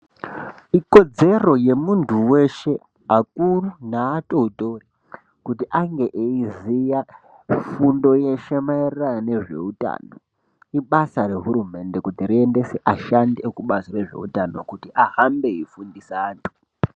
Ikodzero yemuntu weshe akuru neatotori kuti ange eiziya fundo yeshe mairirano nezveutano ibasa rehurumende kuti riendese ashandi rekubazi rezveutano kuti ahambe veifundisa antu.